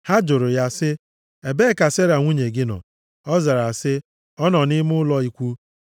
Ha jụrụ ya sị, “Ebee ka Sera nwunye gị nọ?” Ọ zara sị, “Ọ nọ nʼime ụlọ ikwu.”